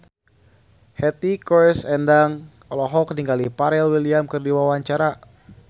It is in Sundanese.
Hetty Koes Endang olohok ningali Pharrell Williams keur diwawancara